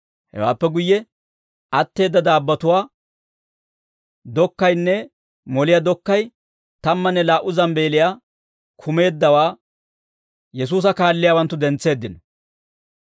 Hewaappe guyye atteedda daabbotuwaa dokkaynne moliyaa dokkay tammanne laa"u zambbeeliyaa kumeeddawaa Yesuusa kaalliyaawanttu dentseeddino.